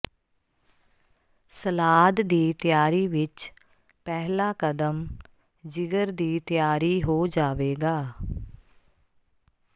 salad ਦੀ ਤਿਆਰੀ ਵਿਚ ਪਹਿਲਾ ਕਦਮ ਜਿਗਰ ਦੀ ਤਿਆਰੀ ਹੋ ਜਾਵੇਗਾ